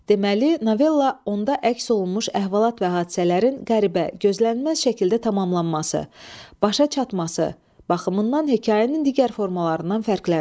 Deməli, novella onda əks olunmuş əhvalat və hadisələrin qəribə, gözlənilməz şəkildə tamamlanması, başa çatması baxımından hekayənin digər formalarından fərqlənir.